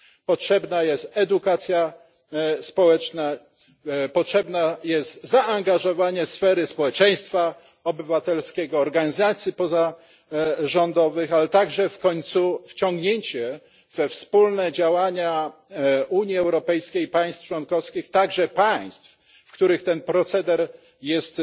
Potrzebna jest edukacja społeczna, potrzebne jest zaangażowanie społeczeństwa obywatelskiego, organizacji pozarządowych, ale także wreszcie wciągnięcie we wspólne działania Unii Europejskiej i państw członkowskich także tych państw, w których ten proceder jest